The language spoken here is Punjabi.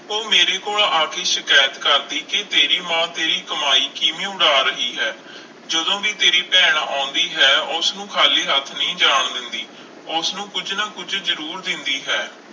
ਉਹ ਮੇਰੇ ਕੋਲ ਆ ਕੇ ਸ਼ਿਕਾਇਤ ਕਰਦੀ ਕਿ ਤੇਰੀ ਮਾਂ ਤੇਰੀ ਕਮਾਈ ਕਿਵੇਂ ਉਡਾ ਰਹੀ ਹੈ ਜਦੋਂ ਵੀ ਤੇਰੀ ਭੈਣ ਆਉਂਦੀ ਹੈ ਉਸਨੂੰ ਖਾਲੀ ਹੱਥ ਨਹੀਂ ਜਾਣ ਦਿੰਦੀ, ਉਸਨੂੰ ਕੁੱਝ ਨਾ ਕੁੱਝ ਜ਼ਰੂਰ ਦਿੰਦੀ ਹੈ।